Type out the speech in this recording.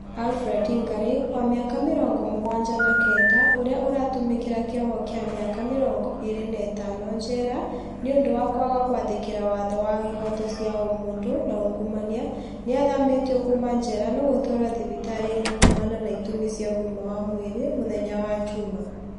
ALfred Ngari, wa mĩaka mĩrongo mũgwanja na kenda ũrĩa aratũmĩkĩra kĩoho kĩa mĩaka mĩrongo ĩrĩ na ĩtano jera nĩũndũ wa kwaga gwathĩkĩra watho wa ĩhoto cĩa ũmũndũ na ungumania nĩ athamĩtio kuma jera na gũtwarwo thibitarĩ-inĩ kũmana na itũmĩ cia ũgima wa mwĩrĩ mũthenya wa Juma